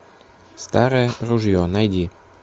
старое ружье найди